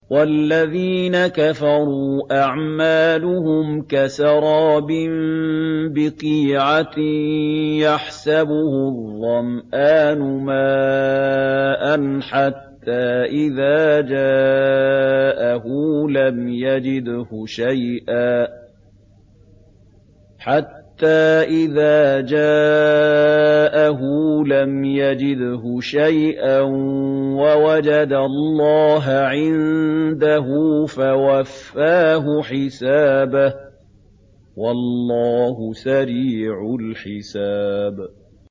وَالَّذِينَ كَفَرُوا أَعْمَالُهُمْ كَسَرَابٍ بِقِيعَةٍ يَحْسَبُهُ الظَّمْآنُ مَاءً حَتَّىٰ إِذَا جَاءَهُ لَمْ يَجِدْهُ شَيْئًا وَوَجَدَ اللَّهَ عِندَهُ فَوَفَّاهُ حِسَابَهُ ۗ وَاللَّهُ سَرِيعُ الْحِسَابِ